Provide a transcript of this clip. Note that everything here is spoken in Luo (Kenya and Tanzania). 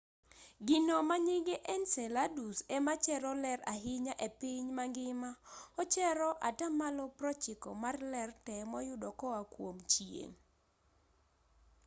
gino manyinge enceladus ema chero ler ahinya epiny mangima ochero atamalo 90 mar ler tee moyudo koa kuom chieng'